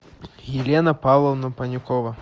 елена павловна панюкова